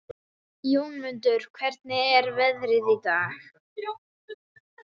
Jónmundur, hvernig er veðrið í dag?